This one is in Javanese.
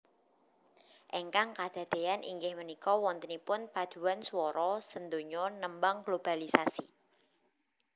Ingkang kadadean inggih méniko wonténipun paduan suworo séndonyo némbang globalisasi